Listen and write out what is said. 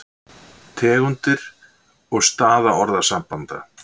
Tegundir og staða orðasambanda